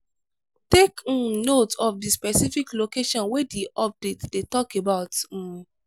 take um note of di specific location wey di update dey talk about um